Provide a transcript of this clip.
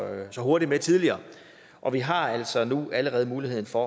hurtig med tidligere og vi har altså nu allerede muligheden for